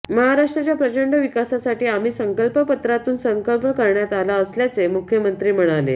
महाराष्ट्राच्या प्रचंड विकासासाठी आम्ही संकल्पपत्रातून संकल्प करण्यात आला असल्याचे मुख्यमंत्री म्हणाले